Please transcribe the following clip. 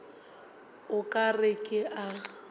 o ka re ke a